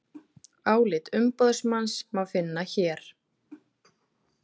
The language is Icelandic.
Álit umboðsmanns má finna hér